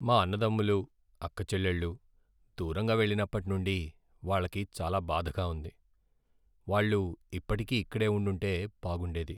మా అన్నదమ్ములు, అక్కచెల్లెళ్ళు దూరంగా వెళ్ళినప్పటి నుండి వాళ్ళకి చాలా బాధగా ఉంది. వాళ్ళు ఇప్పటికీ ఇక్కడే ఉండింటే బాగుండేది.